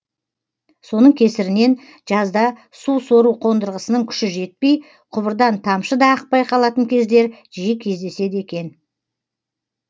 соның кесірінен жазда су сору қондырғысының күші жетпей құбырдан тамшы да ақпай қалатын кездер жиі кездеседі екен